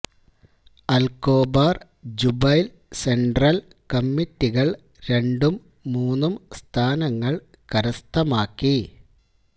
Al Khobar Jubail central കമ്മിറ്റികള് രണ്ടും മൂന്നും സ്ഥാനങ്ങള് കരസ്ഥമക്കി